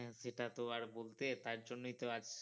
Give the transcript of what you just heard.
হ্যাঁ সেটা তো আর বলতে তার জন্যই তো আজ